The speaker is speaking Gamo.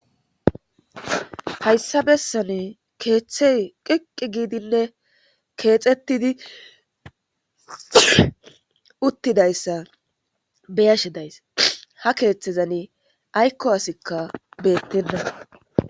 hayssa bessan keeththey qiqqi giidinne keexettidi uttidayssa beyashe days ha keeththezan aykko asikka beettenna